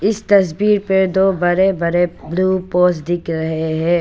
इस तस्वीर पे दो बड़े बड़े ब्लू पोल्स दिख रहे है।